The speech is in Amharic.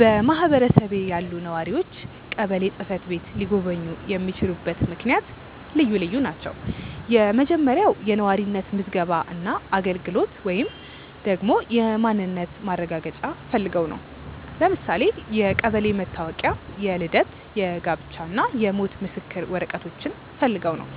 በማህበረሰቤ ያሉ ነዋሪዎች ቀበሌ ጽ/ቤት ሊጎበኙ የሚችሉበት ምክንያት ልዩ ልዩ ናቸው። የመጀመሪያው የነዋሪነት ምዝገባ እና አገልግሎት ወይንም ደግሞ የማንነት ማረጋገጫ ፈልገው ነው። ለምሳሌ የቀበሌ መታወቂያ፣ የልደት፣ የጋብቻ እና የሞት ምስክር ወረቀቶችን ፈልገው ነው።